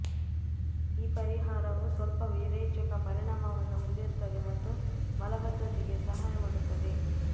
ಈ ಪರಿಹಾರವು ಸ್ವಲ್ಪ ವಿರೇಚಕ ಪರಿಣಾಮವನ್ನು ಹೊಂದಿರುತ್ತದೆ ಮತ್ತು ಮಲಬದ್ಧತೆಗೆ ಸಹಾಯ ಮಾಡುತ್ತದೆ